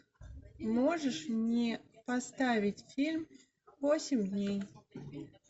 можешь мне поставить фильм восемь дней